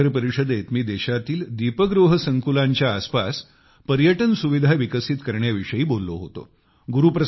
ह्या शिखर परिषदेत मी देशातील दीपगृह संकुलांच्या आसपास पर्यटन सुविधा विकसित करण्याविषयी बोललो होतो